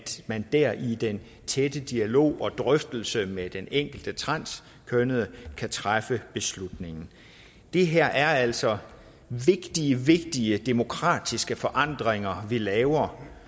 man der i den tætte dialog og drøftelse med den enkelte transkønnede kan træffe beslutningen det her er altså vigtige vigtige demokratiske forandringer vi laver